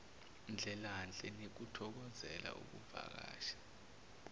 ndlelanhle nikuthokozele ukuvakasha